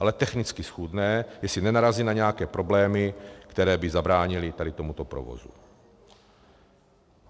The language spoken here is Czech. Ale technicky schůdné, jestli nenarazí na nějaké problémy, které by zabránily tady tomuto provozu.